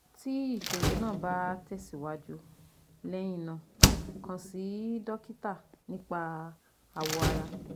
Ti iṣoro naa ba tẹsiwaju lẹhinna kan si dokita nipa awọ ara